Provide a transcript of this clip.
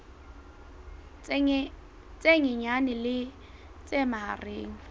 tse nyenyane le tse mahareng